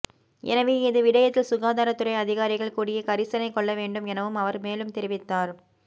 எனவே இது விடயத்தில் சுகாதாரத் துறை அதிகாரிகள் கூடிய கரிசனை கொள்ள வேண்டும் எனவும் அவர் மேலும் தெரிவித்தார்